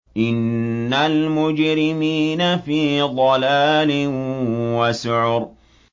إِنَّ الْمُجْرِمِينَ فِي ضَلَالٍ وَسُعُرٍ